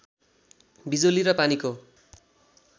बिजुली र पानीको